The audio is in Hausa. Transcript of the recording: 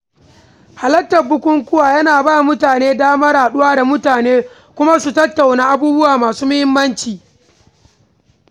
Halartar bukukuwa yana bawa mutum damar haɗuwa da mutane kuma su tattauna abubuwa masu muhimmanci.